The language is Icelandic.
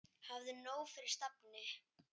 Hafðu nóg fyrir stafni.